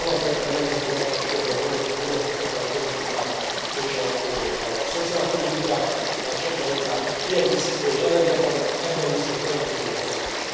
Alapvetően nemzeti hatáskörben vannak a foglalkoztatáspolitikák és a szociálpolitikák, tehát sokkal inkább kiegészítő jellege van, ebben viszont rendkívül hasznos.